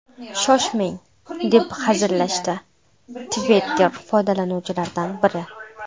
Shoshmang...”, deb hazillashdi Twitter foydalanuvchilaridan biri.